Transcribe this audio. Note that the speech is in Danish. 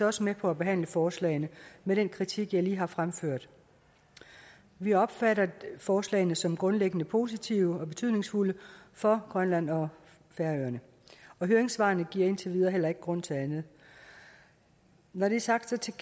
også med på at behandle forslagene med den kritik jeg lige har fremført vi opfatter forslagene som grundlæggende positive og betydningsfulde for grønland og færøerne høringssvarene giver indtil videre heller ikke grund til andet når det er sagt